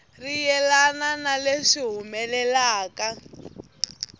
ri yelana na leswi humelelaka